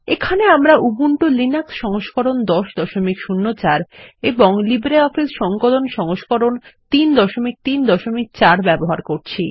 এখানে আমরা Ubuntu Linux সংস্করণ ১০০৪ এবং লিব্রিঅফিস সংকলন সংস্করণ ৩৩৪ ব্যবহার করছি